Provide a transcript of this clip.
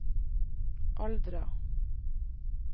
Aldra